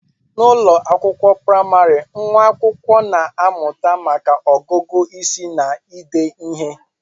N'ụlọ akwụkwọ praịmarị, nwa akwụkwọ na-amụta maka ọgụgụ isi na ide ihe